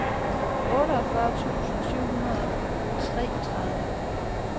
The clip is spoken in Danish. otteogfyrre tusind syv hundrede og treogtredive